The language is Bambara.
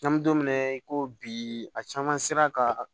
N'an bɛ don min na i ko bi a caman sera ka